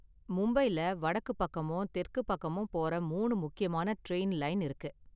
மும்பைல வடக்கு பக்கமும் தெற்க்கு பக்கமும் போற மூணு முக்கியமான ட்ரெயின் லைன் இருக்கு.